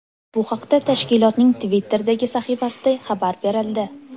Bu haqda tashkilotning Twitter’dagi sahifasida xabar berildi.